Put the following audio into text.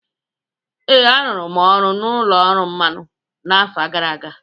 Ee, arụrụ m ọrụ n’ụlọ ọrụ mmanụ n’afọ gara aga.